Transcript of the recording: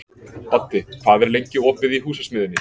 Baddi, hvað er lengi opið í Húsasmiðjunni?